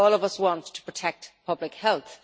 I think all of us want to protect public health.